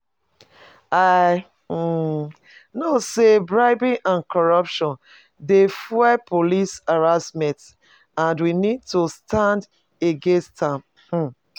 I um know say bribery and courruption dey fuel police harassment, and we need to stand against am. um